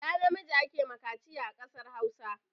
Ɗa namiji ake wa kaciya a kasar Hausa